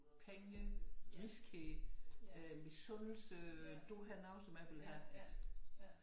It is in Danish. Penge griskhed misundelse du har noget som jeg vil have